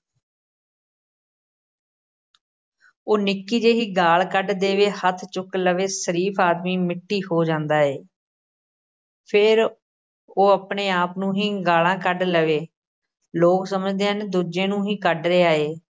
ਉਹ ਨਿੱਕੀ ਜਿਹੀ ਗਾਲ੍ਹ ਕੱਢ ਦੇਵੇ, ਹੱਥ ਚੁੱਕ ਲਵੇ, ਸ਼ਰੀਫ਼ ਆਦਮੀ ਮਿੱਟੀ ਹੋ ਜਾਂਦਾ ਏ ਫੇਰ ਉਹ ਆਪਣੇ ਆਪ ਨੂੰ ਹੀ ਗਾਲ੍ਹਾਂ ਕੱਢ ਲਵੇ, ਲੋਕ ਸਮਝਦੇ ਹਨ ਦੂਜੇ ਨੂੰ ਹੀ ਕੱਢ ਰਿਹਾ ਏ।